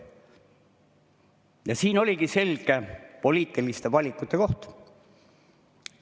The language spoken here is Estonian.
oligi selge poliitilise valiku koht.